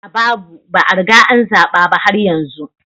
A a babu, ba a riga an zaba ba har yanzu